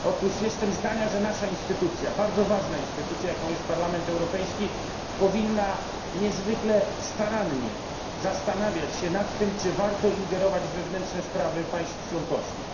Otóż jestem zdania, że nasz instytucja, bardzo ważna instytucja, jaką jest Parlament Europejski, powinna niezwykle starannie zastanawiać się nad tym, czy warto ingerować w wewnętrzne sprawy państw członkowskich.